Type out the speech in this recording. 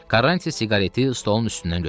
Karanti siqareti stolun üstündən götürdü.